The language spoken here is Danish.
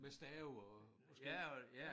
Med stave og måske